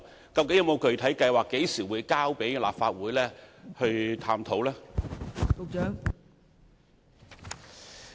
當局究竟有沒有具體計劃，何時會提交立法會進行探討呢？